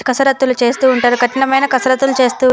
కసరత్తులు చేస్తూ ఉంటారు కఠినమైన కసరత్తులు చేస్తూ.